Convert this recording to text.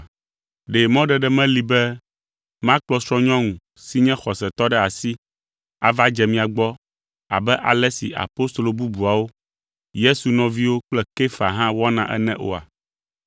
Ɖe mɔɖeɖe meli be makplɔ srɔ̃nyɔnu si nye xɔsetɔ ɖe asi ava dze mia gbɔ abe ale si apostolo bubuawo, Yesu nɔviwo kple Kefa hã wɔna ene oa?